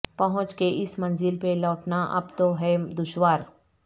پہنچ کے اس منزل پہ لوٹنا اب تو ہے دشوار